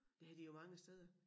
Det har de jo mange steder